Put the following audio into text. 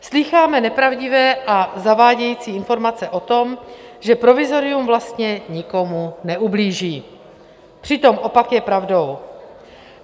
Slýcháme nepravdivé a zavádějící informace o tom, že provizorium vlastně nikomu neublíží, přitom opak je pravdou.